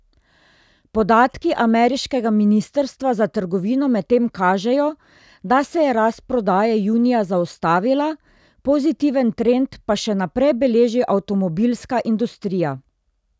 Podatki ameriškega ministrstva za trgovino medtem kažejo, da se je rast prodaje junija zaustavila, pozitiven trend pa še naprej beleži avtomobilska industrija.